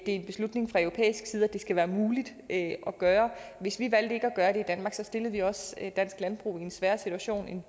en beslutning fra europæisk side at det skal være muligt at gøre hvis vi valgte ikke at gøre det i danmark stillede vi dansk landbrug i en sværere situation end